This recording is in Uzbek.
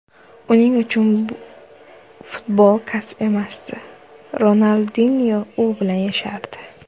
Uning uchun futbol kasb emasdi, Ronaldinyo u bilan yashardi.